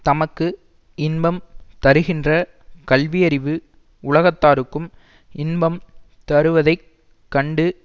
தமக்கு இன்பம் தருகின்ற கல்வியறிவு உலகத்தாருக்கும் இன்பம் தருவதைக் கண்டு